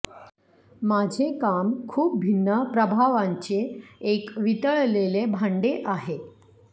माझे काम खूप भिन्न प्रभावांचे एक वितळलेले भांडे आहे